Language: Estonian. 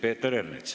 Peeter Ernits.